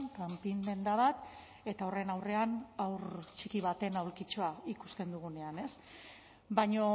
kanpin denda bat eta horren aurrean haur txiki batean aulkitxoa ikusten dugunean baina